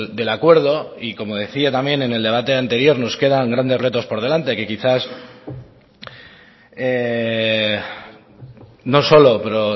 del acuerdo y como decía también en el debate anterior nos quedan grandes retos por delante que quizás no solo pero